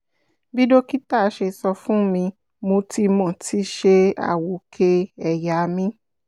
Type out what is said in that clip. bí dókítà ṣe sọ fún mi mo ti mo ti ṣe àwòkẹ́ ẹ̀yà mi